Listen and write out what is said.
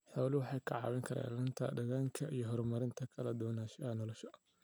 Xooluhu waxay ka caawiyaan ilaalinta deegaanka iyo horumarinta kala duwanaanshaha noolaha.